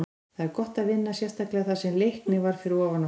Það var gott að vinna, sérstaklega þar sem Leiknir var fyrir ofan okkur.